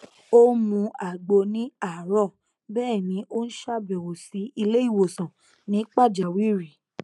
ó n mu àgbo ní àárọ bẹẹ ni ó n ṣàbẹwò sí ilé ìwòsàn ní pàjáwìrì